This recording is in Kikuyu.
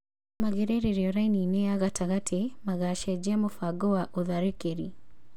magĩrĩrĩrio raini-inĩ ya gatagatĩ, magacenjia mũbango wa ũtharĩkĩri.